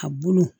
A bolo